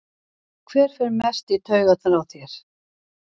Hver fer mest í taugarnar á þér?